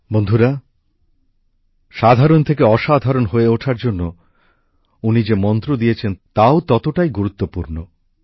বন্ধুরা সাধারণ থেকে অসাধারণ হয়ে ওঠার জন্য উনি যে মন্ত্র দিয়েছেন তাও ততটাই গুরুত্বপূর্ণ